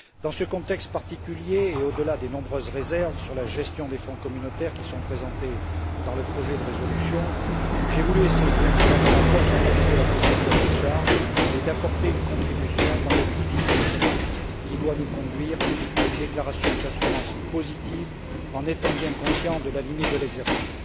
Dans ce contexte particulier, et au delà des nombreuses réserves sur la gestion des fonds communautaires qui figurent dans le projet de résolution, j'ai voulu essayer, à travers mon rapport, d'analyser la procédure de décharge et d'apporter une contribution dans le difficile chemin qui doit nous conduire à une déclaration d'assurance positive, en étant bien conscients de la limite de l'exercice.